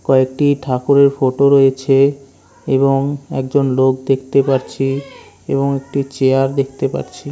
কয়েকটি ঠাকুরের ফটো রয়েছে এবং একজন লোক দেখতে পাচ্ছি এবং একটি চেয়ার দেখতে পাচ্ছি।